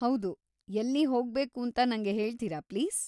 ಹೌದು, ಎಲ್ಲಿ ಹೋಗ್ಬೇಕೂಂತ ನಂಗೆ ಹೇಳ್ತೀರಾ ಪ್ಲೀಸ್?